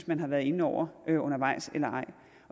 man har været inde over undervejs eller ej